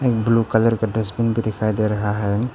एक blue colour का dustbin भी दिखाई दे रहा है।